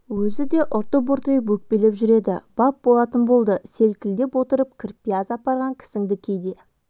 өзі де ұрты бұртиып өкпелеп жүр еді бап болатын болды селкілдеп отырып кірпияз апарған кісіңді кейде